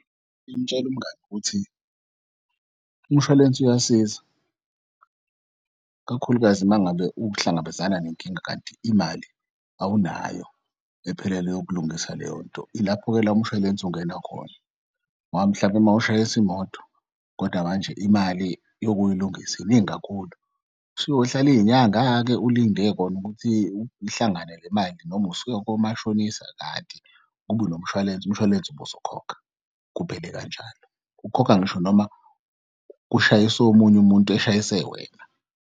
Imtshele umngani ukuthi umshwalense uyasiza ikakhulukazi mangabe uhlangabezana nenkinga kanti imali awunayo ephelele yokulungisa leyo nto. Ilapho-ke la umshwalense ungena khona ngoba mhlawumbe mawushayisa imoto kodwa manje imali yokuyilungisa iningi kakhulu. Useyohlala iy'nyanga-ke ulinde kon'ukuthi ihlangane le mali noma usuy'komashonisa kanti kube unomshwalense, umshwalense ubuzokhokha kuphele kanjalo. Ukhokha ngisho noma kushayis'omunye umuntu eshayise wena.